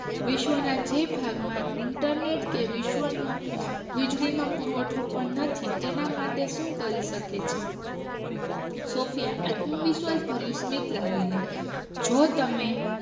વિશ્વ્ ના છ ભાગમાં ઈન્ટરનેટ કે વીજળી નો પુરવઠો નથી તેના માટે શું કરી શકીયે? સૉફયા આત્મવિશ્વાસ જેવું સ્મિત લાદીને જો તમે